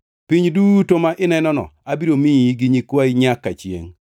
Piny duto ma inenono abiro miyi gi nyikwayi nyaka chiengʼ.